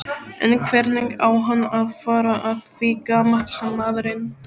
En hvernig á hann að fara að því gamall maðurinn?